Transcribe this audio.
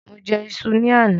Mo jẹ iṣu ni àná.